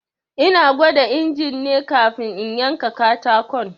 Ina gwada incin ne kafin in yanka katakon.